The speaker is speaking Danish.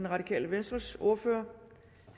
radikale venstres ordfører